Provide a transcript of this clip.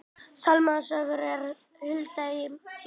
Sálmasöngur úr hulduheimum